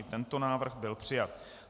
I tento návrh byl přijat.